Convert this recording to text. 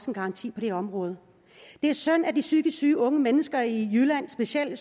en garanti på det område det er synd at de psykisk syge unge mennesker specielt i